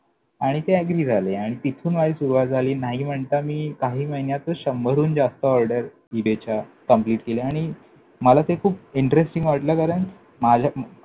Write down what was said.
आणि ते agree झाले आणि तिथून माझी सुरुवात झाली. नाही म्हणता मी काही महिन्यातच शंभरहून जास्त order ईबेच्या complete केल्या. आणि मला ते खूप interesting वाटलं, कारण माझ्या